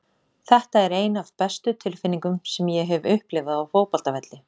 Þetta er ein af bestu tilfinningum sem ég hef upplifað á fótboltavelli.